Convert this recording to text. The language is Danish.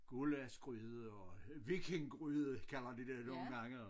Gullaschgryde og vikinggryde kalder de det nogen gange og